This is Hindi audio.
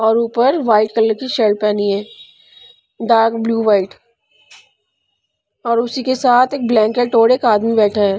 और ऊपर वाइट कलर की शर्ट पहनी है डार्क ब्लू वाइट और उसी के साथ एक ब्लैंकेट और एक आदमी बैठा है।